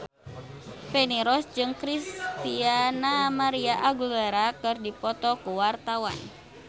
Feni Rose jeung Christina María Aguilera keur dipoto ku wartawan